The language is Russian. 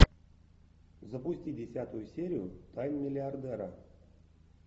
запусти десятую серию тайн миллиардера